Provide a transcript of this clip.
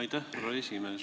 Aitäh, härra esimees!